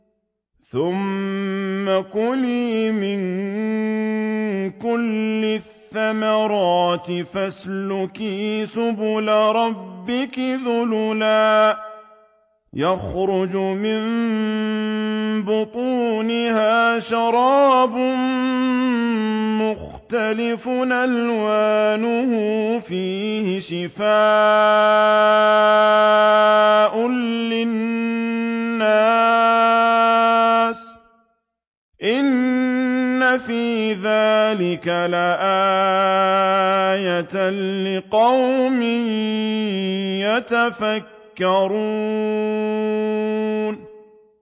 ثُمَّ كُلِي مِن كُلِّ الثَّمَرَاتِ فَاسْلُكِي سُبُلَ رَبِّكِ ذُلُلًا ۚ يَخْرُجُ مِن بُطُونِهَا شَرَابٌ مُّخْتَلِفٌ أَلْوَانُهُ فِيهِ شِفَاءٌ لِّلنَّاسِ ۗ إِنَّ فِي ذَٰلِكَ لَآيَةً لِّقَوْمٍ يَتَفَكَّرُونَ